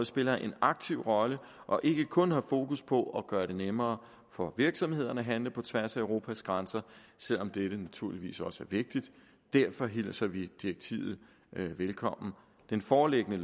spiller en aktiv rolle og ikke kun har fokus på at gøre det nemmere for virksomhederne at handle på tværs af europas grænser selv om dette naturligvis også er vigtigt og derfor hilser vi direktivet velkommen det foreliggende